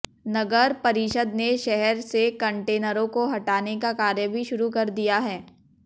नगर परिषद ने शहर से कंटेनरों को हटाने का कार्य भी शुरू कर दिया है